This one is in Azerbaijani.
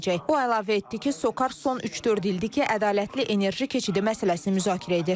Bu əlavə etdi ki, SOCAR son üç-dörd ildir ki, ədalətli enerji keçidi məsələsini müzakirə edir.